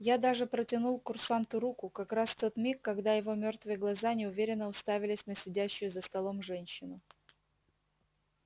я даже протянул курсанту руку как раз в тот миг когда его мёртвые глаза неуверенно уставились на сидящую за столом женщину